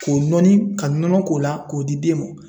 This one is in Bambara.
K'o nɔni ka nɔnɔ k'o la k'o di den ma .